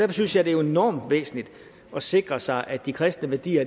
synes jeg det er enormt væsentligt at sikre sig at de kristne værdier